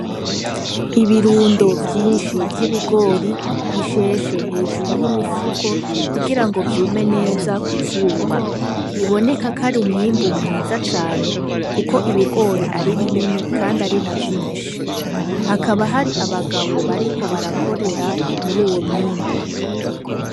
Ibirundo vyinshi vy'ibigori bisheshe hejuru y'imifuko kugira ngo vyume neza kuzuba biboneka akari umwimbu mwiza cane, kuko ibigori ari binini, kandi ari na vyinshi hakaba hari abagabo bariko barakorera muri uwo mwimbu.